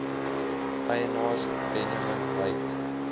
eienaars benjamin weigt